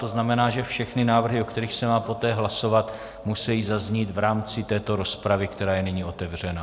To znamená, že všechny návrhy, o kterých se má poté hlasovat, musejí zaznít v rámci této rozpravy, která je nyní otevřena.